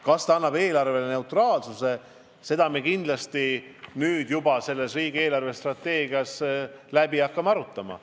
Kas see muudaks eelarve neutraalseks, seda me kindlasti hakkame riigi eelarvestrateegiat koostades arutama.